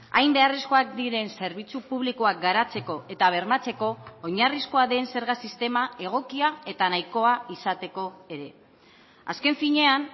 hain beharrezkoak diren zerbitzu publikoak garatzeko eta bermatzeko oinarrizkoa den zerga sistema egokia eta nahikoa izateko ere azken finean